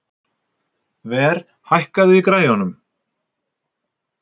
Ver, hækkaðu í græjunum.